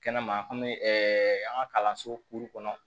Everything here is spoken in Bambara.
Kɛnɛma an bɛ an ka kalanso kɔnɔ